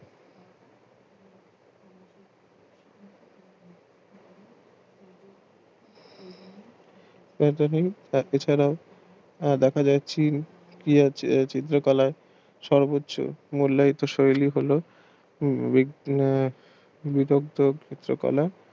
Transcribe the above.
তাকে ছাড়া দেখা যাচ্ছে চিত্র কলা সর্বোচ্চ মূল্যায়িত শৈলী হলো আহ যুগান্তর চিত্র কলা